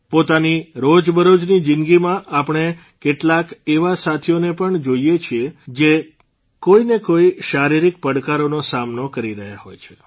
પોતાની રોજબરોજની જીંદગીમાં આપણે કેટલાક એવા સાથીઓને પણ જોઇએ છીએ જ કોઇને કોઇ શારીરીક પડકારોનો સામનો કરી રહ્યા છે